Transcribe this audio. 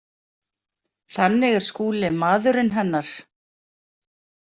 Þannig er Skúli maðurinn hennar.